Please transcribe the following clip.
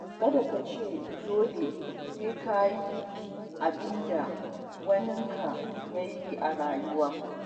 Kada ka ce dole sai ka yi abinda waninka ya yi a rayuwa.